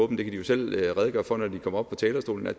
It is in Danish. kan de jo selv redegøre for når de kommer op på talerstolen og